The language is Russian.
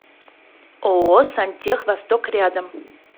ооо сантех восток рядом